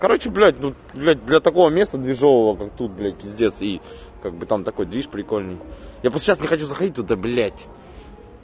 короче блять ну блять для такого места движевого как тут блять пиздец и как бы там такой движ прикольный я просто сейчас не хочу заходить туда блять